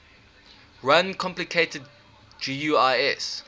run complicated guis